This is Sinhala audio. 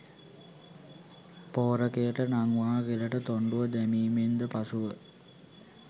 ' පෝරකයට නංවා ගෙලට තොණ්ඩුව දැමීමෙන්ද පසුව